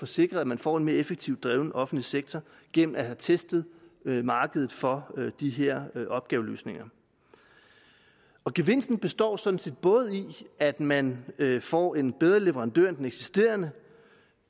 sikre at man får en mere effektivt drevet offentlig sektor gennem at have testet markedet for de her opgaveløsninger gevinsten består sådan set både i at man får en bedre leverandør end den eksisterende